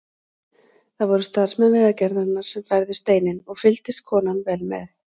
Það voru starfsmenn Vegagerðarinnar sem færðu steininn og fylgdist konan vel með.